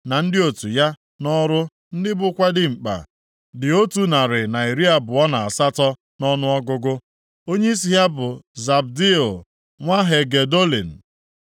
na ndị otu ya nʼọrụ ndị bụkwa dimkpa, dị otu narị na iri abụọ na asatọ (128) nʼọnụọgụgụ. Onyeisi ha bụ Zabdiel nwa Hagedolin.